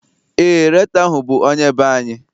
Eé, rektọ ahụ bụ onye be anyị.